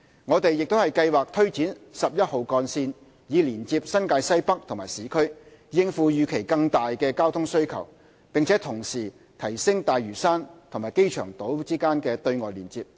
我們亦計劃推展十一號幹線以連接新界西北和市區，應付預期更大的交通需求，並同時提升大嶼山和機場島的"對外連接"。